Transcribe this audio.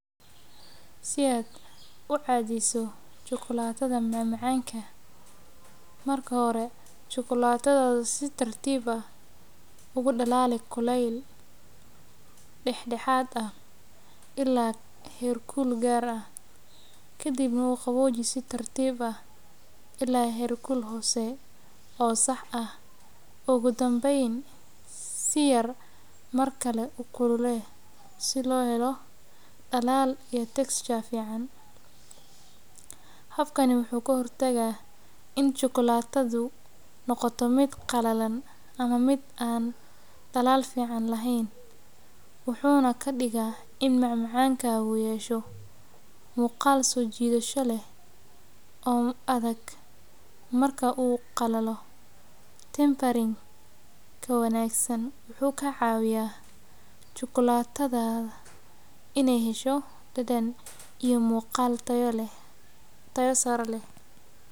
Si aad ucadiso chukulatada macamacanka, marka hore chukulatada si tartiib ah ukulele kuleel heer kul dexdeeda, ogu danbeyn si yar ukulele, habkan wuxuu ku hor tagaa inaay chukulatada noqoto mid qaleel eheen, wuxuuna kadiga in macamacanka uu yeesho muqaal soo jidasha leh tempering wuxuu ka cawiya in chukulatada aay yelato macaan iyo mid tayo sare leh.